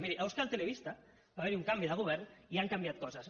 miri a euskal telebista va haver hi un canvi de govern i han canviat coses